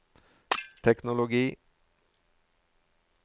teknologi